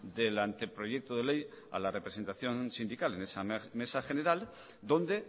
del anteproyecto de ley a la representación sindical en esa mesa general donde